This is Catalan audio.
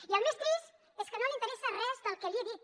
i el més trist és que no l’interessa res del que li he dit